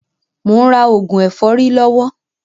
Mò ń rà òògùn ẹ̀fọ́rí lọ́wọ́